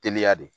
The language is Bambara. Teliya de